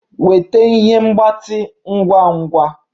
Weta ihe mgbatị ngwa ngwa!